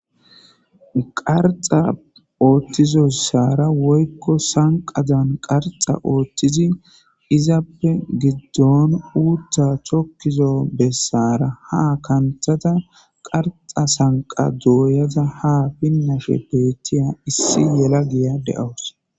Qarxa ooththizossaara woykko sanqadan qarxa ooththizi izappe giddon uutta chokkizo bessara ha kanthata qarxa sanqa dooyada ha pinnashe beettiya issi yela giya de'awus